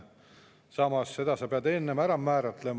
Samas, selle sa pead enne.